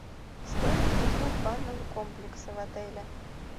стоимость услуг банного комплекса в отеле